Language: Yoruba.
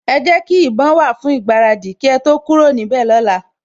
Ẹ jẹ́ kí ìbọn wà fún ìgbáradì kí ẹ tó kúrò níbẹ̀ lọ́la